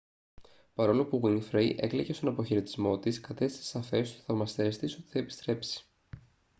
παρόλο που γουίνφρεϊ έκλαιγε στον αποχαιρετισμό της κατέστησε σαφές τους θαυμαστές της ότι θα επιστρέψει